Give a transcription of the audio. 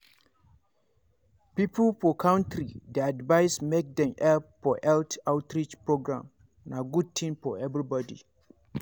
people for country dey advised make dem help for health outreach program na good thing for everybody.